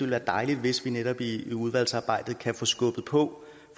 være dejligt hvis vi netop i udvalgsarbejdet kan få skubbet på